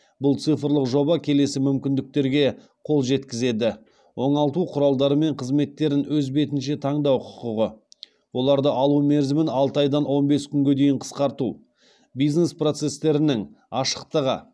бұл цифрлық жоба келесі мүмкіндіктерге қол жеткізеді оңалту құралдары мен қызметтерін өз бетінше таңдау құқығы оларды алу мерзімін алты айдан он бес күнге дейін қысқарту бизнес процестерінің ашықтығы